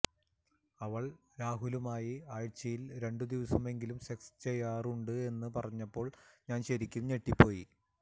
അവൾ രാഹുലുമായി ആഴ്ചയിൽ രണ്ടു ദിവസം എങ്കിലും സെക്സ് ചെയ്യാറുണ്ട് എന്ന് പറഞ്ഞപ്പോൾ ഞാൻ ശരിക്കും ഞെട്ടി പോയി